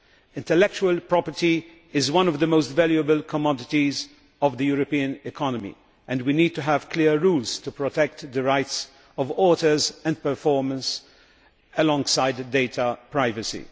Intellectual property is one of the most valuable commodities of the European economy and we need to have clear rules to protect the rights of authors and performers alongside data privacy.